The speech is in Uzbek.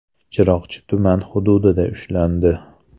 Chiroqchi tuman hududida ushlandi.